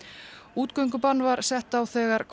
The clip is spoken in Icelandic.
útgöngubann var sett á þegar